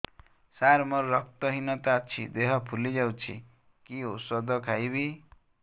ସାର ମୋର ରକ୍ତ ହିନତା ଅଛି ଦେହ ଫୁଲି ଯାଉଛି କି ଓଷଦ ଖାଇବି